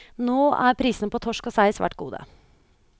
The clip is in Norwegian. Nå er prisene på torsk og sei svært gode.